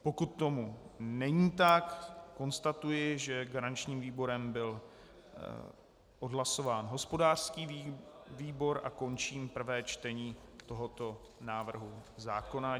Pokud tomu není tak, konstatuji, že garančním výborem byl odhlasován hospodářský výbor, a končím prvé čtení tohoto návrhu zákona.